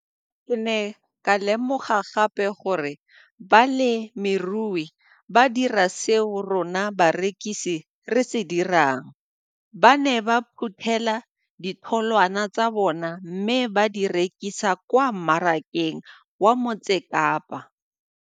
Ke ne ka lemoga gape gore balemirui ba dira seo rona barekisi re se dirang ba ne ba phuthela ditholwana tsa bona mme ba di rekisa kwa marakeng wa Motsekapa.